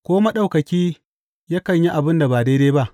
Ko Maɗaukaki yakan yi abin da ba daidai ba?